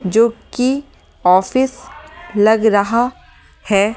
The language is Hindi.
जो कि ऑफिस लग रहा है।